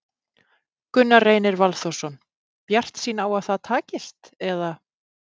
Gunnar Reynir Valþórsson: Bjartsýn á að það takist, eða?